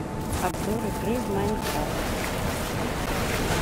обзор игры в майнкрафт